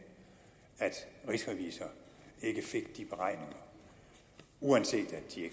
rigsrevisor ikke fik de beregninger uanset at de